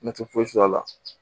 Ne tɛ foyi sɔrɔ a la